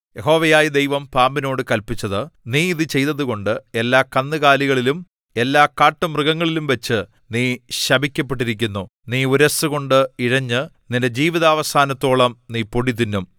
യഹോവയായ ദൈവം പാമ്പിനോട് കല്പിച്ചത് നീ ഇത് ചെയ്തതുകൊണ്ട് എല്ലാ കന്നുകാലികളിലും എല്ലാ കാട്ടുമൃഗങ്ങളിലുംവച്ച് നീ ശപിക്കപ്പെട്ടിരിക്കുന്നു നീ ഉരസ്സുകൊണ്ടു ഇഴഞ്ഞ് നിന്റെ ജീവിതാവസാനത്തോളം നീ പൊടി തിന്നും